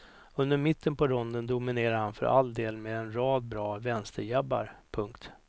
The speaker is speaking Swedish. Under mitten på ronden dominerar han för all del med en rad bra vänsterjabbar. punkt